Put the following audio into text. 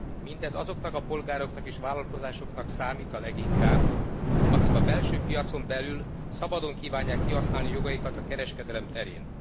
Mindez azoknak a polgároknak és vállalkozásoknak számít a leginkább, akik a belső piacon belül szabadon kívánják kihasználni jogaikat a kereskedelem terén.